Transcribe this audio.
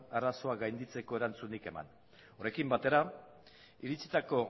arazoa gainditzeko erantzunik eman horrekin batera iritsitako